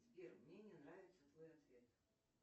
сбер мне не нравится твой ответ